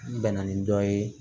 N bɛnna ni dɔ ye